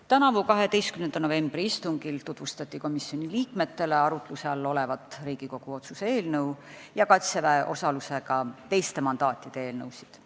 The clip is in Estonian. Tänavusel 12. novembri istungil tutvustati komisjoni liikmetele arutluse all olevat Riigikogu otsuse eelnõu ja Kaitseväe osalusega teiste mandaatide eelnõusid.